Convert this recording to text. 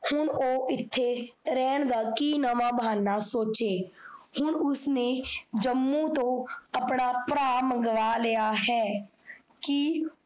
ਹੁਣ ਓਹ ਇੱਥੇ ਰੈਣ ਦਾ ਕੀ ਨਵਾਂ ਭਾਹਨਾਂ ਸੋਚੇ, ਹੁਣ ਉਸ ਨੇ ਜੰਮੂ ਤੋਂ ਆਪਣਾ ਭਰਾ ਮੰਗਵਾ ਲਿਆ ਹੈ। ਕੀ